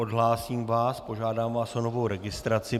Odhlásím vás, požádám vás o novou registraci.